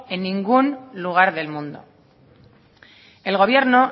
en ningún lugar del mundo el gobierno